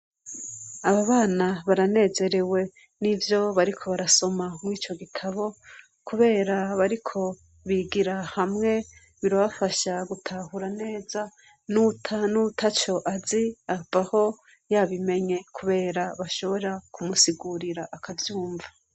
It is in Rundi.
Aba bana baranezewe n'ivyo bariko barasoma mur'ico gitabo ,kubera bariko bigira hamwe birabafasha gutahura neza, n'uwo ataco azi avaho yabimenye, kubera bashobora kumusigurira akavyumva.